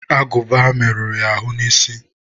agụba merụrụ ya ahụ n'isi.